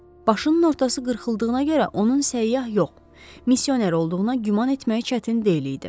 Başının ortası qırxıldığına görə onun səyyah yox, missioner olduğuna güman etmək çətin deyildi.